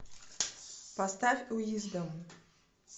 поставь уиздом